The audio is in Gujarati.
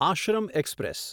આશ્રમ એક્સપ્રેસ